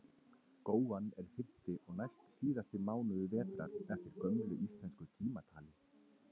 Góan er fimmti og næstsíðasti mánuður vetrar eftir gömlu íslensku tímatali.